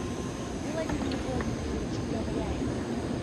владимир владимирович гавряев